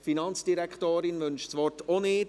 Die Finanzdirektorin wünscht das Wort auch nicht.